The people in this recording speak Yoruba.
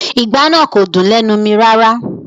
Ìgbá náà kò dùn lẹ́nu mi rárá